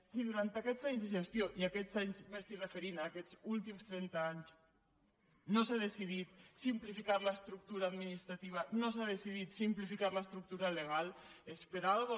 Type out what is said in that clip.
si durant aquests anys de gestió i amb aquests anys m’estic referint a aquests últims trenta anys no s’ha decidit simplificar l’estructura administrativa no s’ha decidit simplificar l’estructura legal és per alguna cosa